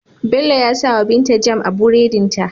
Bello ya sawa binta jam a buredin ta